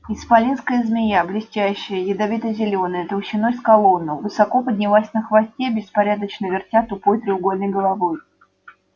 исполинская змея блестящая ядовито-зелёная толщиной с колонну высоко поднялась на хвосте беспорядочно вертя тупой треугольной головой